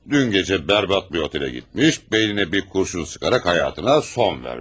Dün gəcə bərbad bir otelə getmiş, beyninə bir qurşun sıxaraq hayatına son vermiş.